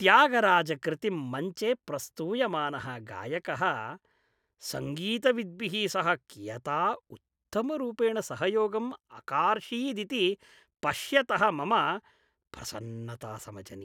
त्यागराज कृतिं मञ्चे प्रस्तूयमानः गायकः सङ्गीतविद्भिः सह कियता उत्तमरूपेण सहयोगम् अकार्षीदिति पश्यतः मम प्रसन्नता समजनि।